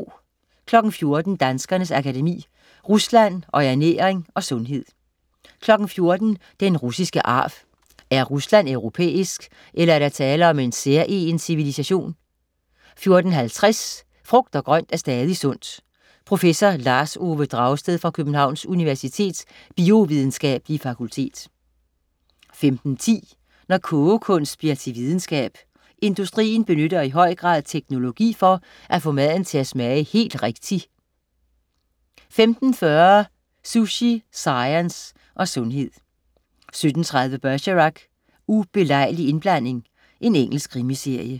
14.00 Danskernes Akademi. Rusland og Ernæring og sundhed 14.00 Den russiske arv. Er Rusland europæisk, eller er der tale om en særegen civilisation 14.50 Frugt og grønt er stadig sundt. Prof. Lars Ove Dragsted fra Københavns Universitets biovidenskabelige fakultet 15.10 Når kogekunst bliver til videnskab. Industrien benytter i høj grad teknologi for at få maden til at smage helt rigtig 15.40 Sushi, science og sundhed 17.30 Bergerac: Ubelejlig indblanding. Engelsk krimiserie